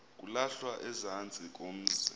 kulahlwa ezantsi komzi